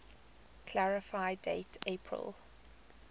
clarify date april